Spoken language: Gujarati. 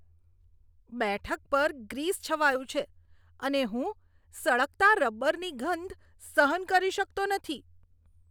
બેઠક પર ગ્રીસ છવાયું છે અને હું સળગતા રબરની ગંધ સહન કરી શકતો નથી.